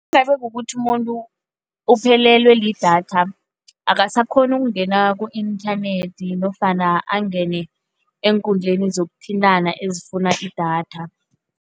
Kukuthi umuntu uphelelwe lidatha, akasakghoni ukungena ku-inthanethi nofana angene eenkundleni zokuthintana ezifuna idatha.